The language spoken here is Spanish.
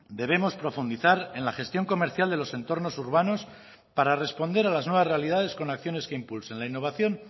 debemos profundizar en la gestión comercial de los entornos urbanos para responder a las nuevas realidades con acciones que impulsen la innovación